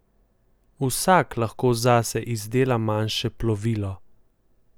Vsak lahko zase izdela manjše plovilo.